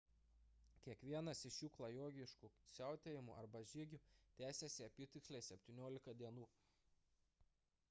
kiekvienas iš šių klajokliškų siautėjimų arba žygių tęsiasi apytiksliai 17 dienų